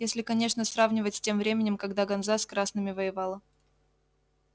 если конечно сравнивать с тем временем когда ганза с красными воевала